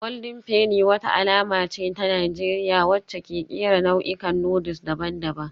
Golden Penny wata alama ce ta Najeriya wacce ke kera nau'ikan noodles daban-daban